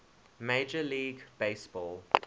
major league baseball